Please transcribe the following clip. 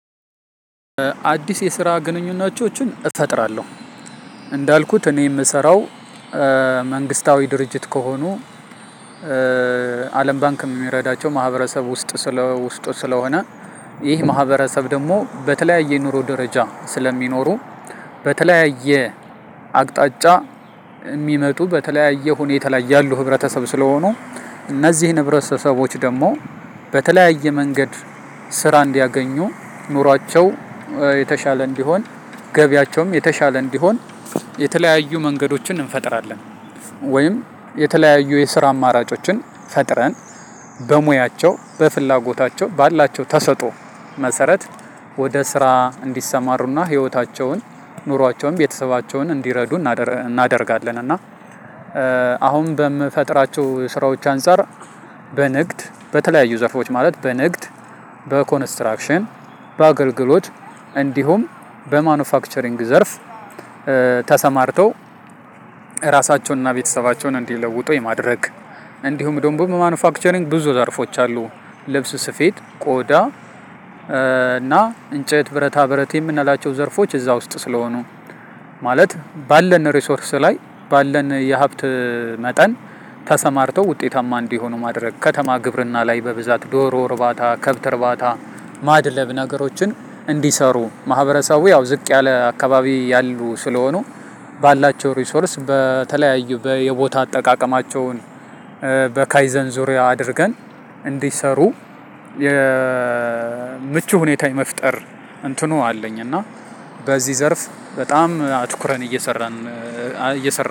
አድስ የስራ ግኑኝነቶችን እፈጥራለሁ። እንዳልኩት እኔ የምሰራው መንግስታዊ ድርጅት ከሆኑ አለም ባንክ የሚረዳቸው ማህበረሰብ ውስጥ ስለ ውስጥ ስለሆነ ይህ ማህበረሰብ ደግሞ በተለያየ ኑሮ ደረጃ ስለሚኖሩ በተለያየ አቅጣጫ የሚመጡ በተለያዬ ሁነታ ላይ ያሉ ህብረተሰብ ስለሆኑ እነዚህን ህብረተሰቦች ደግሞ በተለያየ መንገድ ስራ እንዲያገኙ ኑሯቸው የተሻለ እንዲሆን ገቢያቸውም የተሻለ እንዲሆን የተለያዩ መንገዶችን እንፈጥራለን። ወይም የተለያዩ የስራ አማራጮችን ፈጥረን በሙያቸው በፍላጎታቸው ባላቸው ተሰጦ መሰረት ወደ ስራ እንዲሰማሩና ህይወታቸውን ኑሯቸውን ቤተሰባቸውን እንዲረዱ እናደርጋለን። እና አሁን በምፈጥራቸው ስራዎች አንፃር በንግድ በተለያዩ ዘፎች ማለት በንግ፣ በኮንስትራክሽን፣ በአገልግሎት፣ እንዲሁም በማኑፋክቸሪንግ ዘርፍ ተሰማርተው ራሳቸውንና ቤተሰባቸውን እንዲለውጡ የማድረግ እንዲሁም ደግሞ በማኑፋክቸሪንግ ብዙ ዘርፎች አሉ። ልብስ ስፌት፣ ቆዳ እና እንጨት፣ ብረታ ብረት የምናላቸው ዘርፎች እዛ ውስጥ ስለሆኑ ማለት ባለን ሪሶርስ ላይ ባለን የሀብት መጠን ተሰማርተው ውጤታማ እንዲሆኑ ማድረግ። ከተማ ግብርና ላይ በብዛት ዶሮ እርባ፣ ከብት እርባታ፣ ማድለብ ነገሮችን እንዲሰሩ ማህበረሰቡ ያው ዝቅ ያለ አካባቢ ያሉ ስለሆኑ ባላቸው ሪሶርስ በተለያዩ በየቦታ አጠቃቀማቸውን በካይዘን ዙርያ አድርገን እንድሰሩ የምቹ ሁነታን የመፍጠር እንትኑ አለኝ። እና በዚህ ዘርፍ በጣም አትኩረን እየሰራን